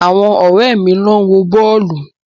Àwọn ọ̀rẹ́ mi ló ń wo bọ́ọ̀lù.